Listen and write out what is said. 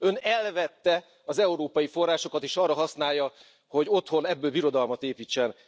Ön elvette az európai forrásokat, és arra használja, hogy otthon belőlük birodalmat építsen.